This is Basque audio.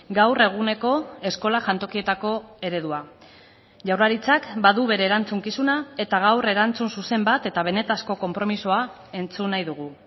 gaur eguneko eskola jantokietako eredua jaurlaritzak badu bere erantzukizuna eta gaur erantzun zuzen bat eta benetako konpromisoa entzun nahi dugu